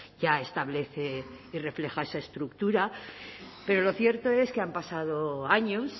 ya establece y refleja esa estructura pero lo cierto es que han pasado años